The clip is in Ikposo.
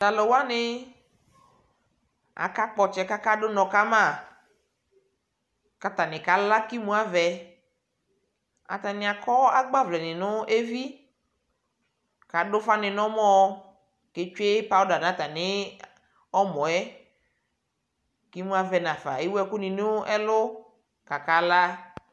talʋwani akakpɔtsɛ kakaɖʋ nɔ Kama katani Kala kimʋavɛ atani akɔ agbavlɛni nʋ evi kaɖʋƒani nʋ ɔmɔɔ ketsʋe NA natani ɔmɔɛ imʋavɛ naƒa ewʋɛkʋni nɛlʋʋ kakalaa